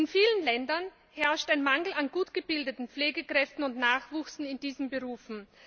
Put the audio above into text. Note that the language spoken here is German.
In vielen Ländern herrscht ein Mangel an gut ausgebildeten Pflegekräften und Nachwuchs in diesen Berufen.